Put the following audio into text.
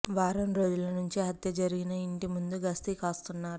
వారం రోజుల నుంచి హత్య జరిగిన ఇంటి ముందు గస్తీ కాస్తున్నారు